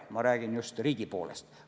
Ma räägin just riigi poolest.